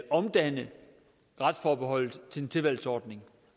omdanne retsforbeholdet til en tilvalgsordning